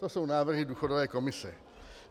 To jsou návrhy důchodové komise.